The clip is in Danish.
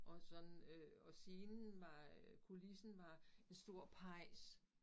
Og sådan øh og scenen var øh kulissen var en stor pejs